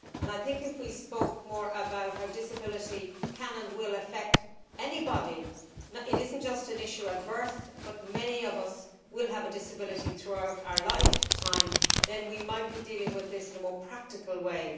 I think if we spoke more about how disability can and will affect anybody it is not just an issue at birth but many of us will have a disability throughout our lifetime then we might be dealing with this in a more practical way.